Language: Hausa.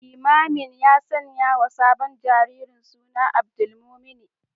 Limamin ya sanyawa sabon jariri suna Abdulmumuni